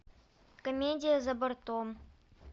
комедия за бортом